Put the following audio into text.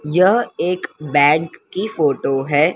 यह एक बैंक की फोटो है।